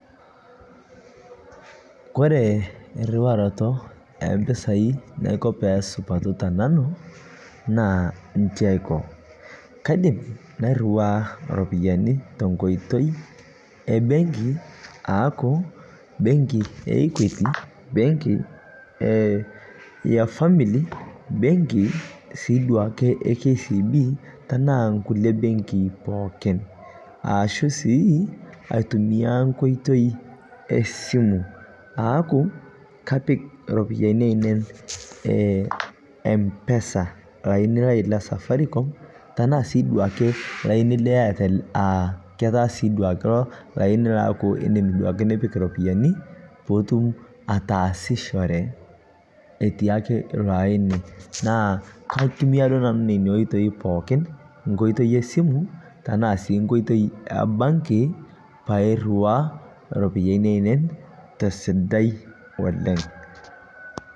Kore iruaroto empisai naiko pesupatuu tenanuu naa nchi aiko, kaidim nairuwaa ropiyani tonkoitei ebeng'i aaku bengi e bengi e equity , bengii e family , bengii sii duake e KCB, tanaa nkulie bengii pookin, aashu sii aitumia nkoitoi esimu aaku kapik ropiyani ainen mpesa lainii lai le safaricom tanaa sii duake laini lai le Airtel a ketaa sii duake iloo lainii laaku indim duakee nipik ropiyani piitum ataasichore etii ake iloo ainii naa kaitumia duo nanuu nenia oitei pookin, nkoitei esimu tanaa sii nkoitei ebanki pairuwaa ropiyani ainen tesidai oleng'.